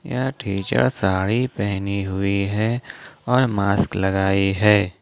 यह टीचर साड़ी पहनी हुई है और मास्क लगाई है।